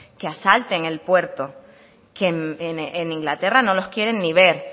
que asalten el puerto que en inglaterra no los quieren ni ver